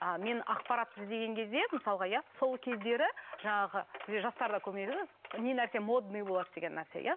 а мен ақпаратты іздеген кезде мысалға иә сол кездері жаңағы бізде жастарда көбіне айтады ғой не нәрсе модный болады деген нәрсе иә